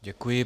Děkuji.